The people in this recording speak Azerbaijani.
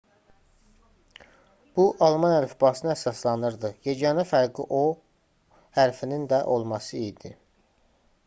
bu alman əlifbasına əsaslanırdı yeganə fərqi onda õ/õ hərfinin də olması idi